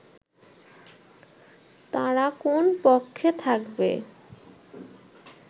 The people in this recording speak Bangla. তারা কোন পক্ষে থাকবে